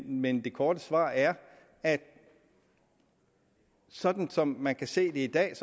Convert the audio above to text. men det korte svar er at sådan som man kan se det i dag er